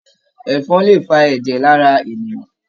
Ẹ̀fọn lè fà ẹjẹ lára ènìyàn.